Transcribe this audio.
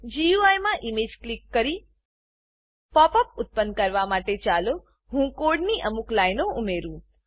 GUI માં image click કરી pop up ઉત્પન્ન કરવા માટે ચાલો હું કોડની અમુક લાઈનો ઉમેરું